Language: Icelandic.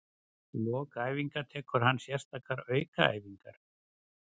Í lok æfinga tekur hann sérstakar aukaæfingar.